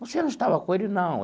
Você não estava com ele, não.